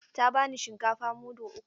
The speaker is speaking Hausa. Ta bani shinkafa mudu uku.